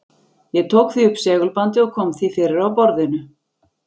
Ég tók því upp segulbandið og kom því fyrir á borðinu.